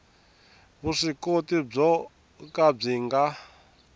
vuswikoti byo ka byi nga